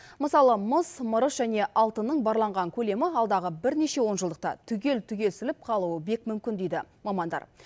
мысалы мыс мырыш және алтынның барланған көлемі алдағы бірнеше онжылдықта түгел түгесіліп қалуы бек мүмкін дейді мамандар